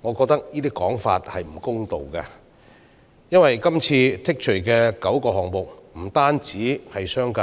我認為這種說法並不公道，因為剔除的9個罪類不單關乎商界，